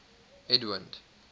edwind